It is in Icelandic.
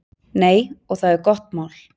Nei, og það er gott mál.